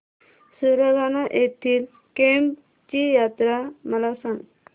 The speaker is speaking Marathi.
सुरगाणा येथील केम्ब ची यात्रा मला सांग